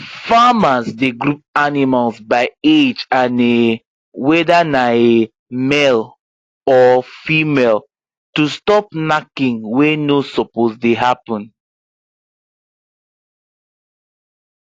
farmers dey group animals by age and um whether na um male or female to stop knacking wey no suppose dey happen